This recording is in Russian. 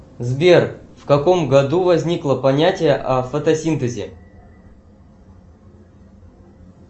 сбер в каком году возникло понятие о фотосинтезе